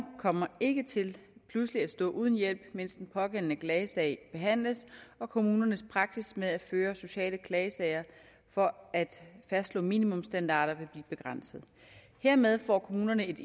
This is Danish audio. kommer ikke til pludselig at stå uden hjælp mens den pågældende klagesag behandles og kommunernes praksis med at føre sociale klagesager for at fastslå minimumsstandarder vil blive begrænset hermed får kommunerne et